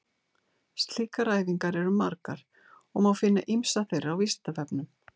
Slíkar æfingar eru margar og má finna ýmsar þeirra á Vísindavefnum.